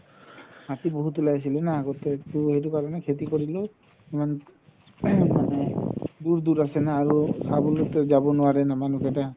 হাতি বহুত উলাইছিলে না বহুত আগতে তৌ সেইটো কাৰণে খেতি কৰিলেও দুৰ দুৰ আছে না আৰু চাবলৈতো যাব নোৱাৰে না মানুহ কেইটা